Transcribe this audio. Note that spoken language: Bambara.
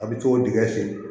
A bɛ t'o digɛn sen